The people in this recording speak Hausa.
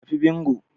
Tafi bingo